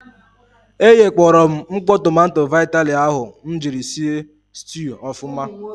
E ghekpọrọ m mkpọ tomanto vitali ahụ m jiri si stuu ọfụma.